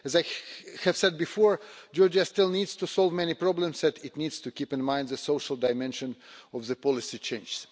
As I have said before, Georgia still needs to solve many problems, and it needs to keep in mind the social dimension of policy change.